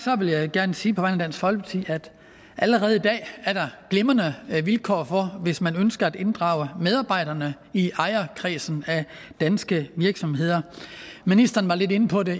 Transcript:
vil jeg gerne sige på vegne af dansk folkeparti at der allerede i dag er glimrende vilkår hvis man ønsker at inddrage medarbejderne i ejerkredsen af danske virksomheder ministeren var lidt inde på det